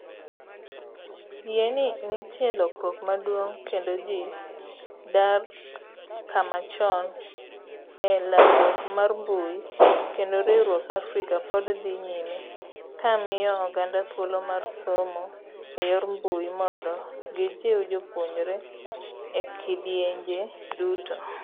Yie ni nitie lokruok maduong' kendo ji dar kochomo e lalruok mar mbui kendo riwruok Africa pod dhi nyime ka miyo oganda thuolo mar somo eyor mbui mondo gijiw jopuonjre e kidienje duto.